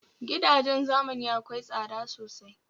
Gidajen zamani akwai tsada sosai